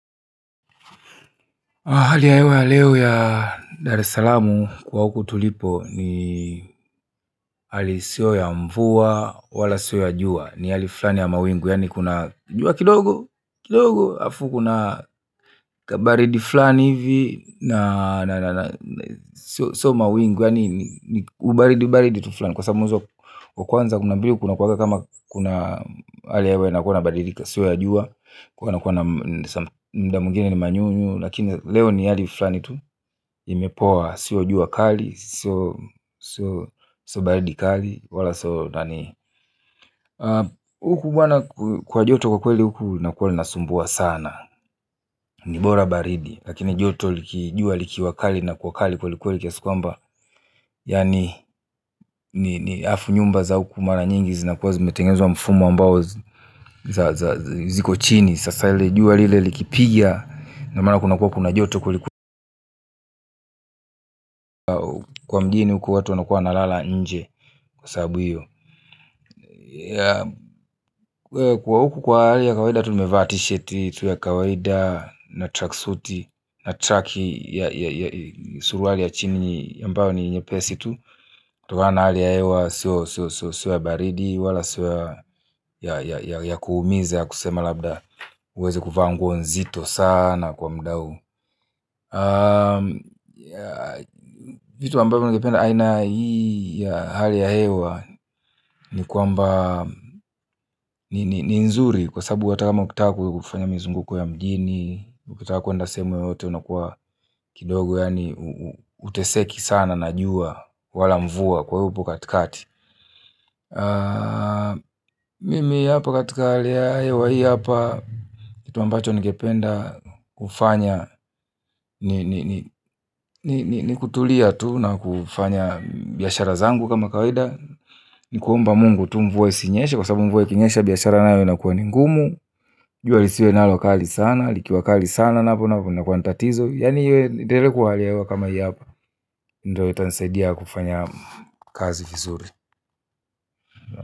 Hali ya hewa ya leo ya Dar es Salaamu kwa huku tulipo ni hali isiyo ya mvua, wala sio ya jua, ni hali fulani ya mawingu, yaani kuna jua kidogo, kidogo, halafu kuna kabaridi fulani hivi, na na na, sio mawingu, yaani ubaridi baridi tu fulani. Kwa sababu mwezi wa kwanza kuna mbili kuna kuwanga kama kuna hali ya hewa inakuwa inabadilika sio ya jua, kuwa na kuwana muda mwingine ni manyunyu lakini leo ni hali fulani tu, imepoa, sio jua kali, sio baridi kali wala kwa joto kwa kweli huku linakuwa linasumbua sana ni bora baridi, lakini joto liki jua likiwa kali linakuwa kweli kweli kiasi kwamba yaani ni halafu nyumba za huku mara nyingi zinakuwa zimetengezwa mfumo ambao ziko chini sasa lile jua lile likipiga ina maana kuna kuwa kuna joto kwelikweli kwa mjini huku watu wanakuwa wanalala nje kwa sababu hiyo kwa huku kwa hali ya kawaida tumevaa tisheti tu ya kawaida na tracksuti na traki ya suruali ya chini ambayo ni nyepesi tu kutokana na hali ya hewa sio ya baridi wala sio ya kuumiza ya kusema labda huwezi kuvaa nguo nzito sana kwa muda huu vitu ambavyo ningependa aina hii ya hali ya hewa ni kwamba, ni nzuri kwa sababu hata kama ukitaka kufanya mizunguko ya mjini, ukitaka kwenda sehemu yoyote unakuwa kidogo yaani huteseki sana na jua wala mvua kwa hivyo upo katikati mimi hapa katika hali ya hewa hii hapa kitu ambacho nigependa kufanya ni kutulia tu na kufanya biashara zangu kama kawaida ni kuomba Mungu tu mvua isinyeshe kwa sababu mvue kinyesha biashara nayo inakuwa ni ngumu jua lisiwe nalo kali sana likiwa kali sana napo inakuwa ni tatizo yaani iendelee kuwa hali ya hewa kama hii hapa ndio itanisaidia kufanya kazi vizuri.